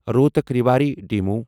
Rohtak Rewari demo